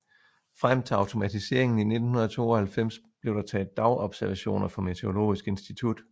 Frem til automatiseringen i 1992 blev der taget dagobservationer for Meteorologisk institutt